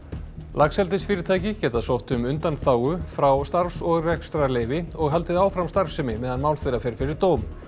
laxeldisfyrirtæki geta sótt um undanþágu frá starfs og rekstrarleyfi og haldið áfram starfsemi meðan mál þeirra fer fyrir dóm